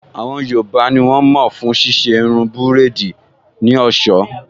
Àwọn yoòbá ní wọ́n mọ̀ fún ṣíṣe irun búrèdì ní ọ̀sọ́